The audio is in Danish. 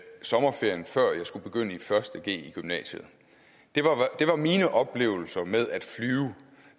sommerferien før jeg skulle begynde i første g i gymnasiet det var mine oplevelser med at flyve